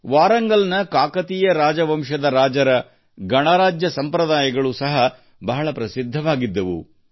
ವಾರಂಗಲ್ನ ಕಾಕತೀಯ ರಾಜವಂಶದ ರಾಜರ ಗಣರಾಜ್ಯ ಸಂಪ್ರದಾಯಗಳು ಸಹ ಬಹಳ ಪ್ರಸಿದ್ಧವಾಗಿದ್ದವು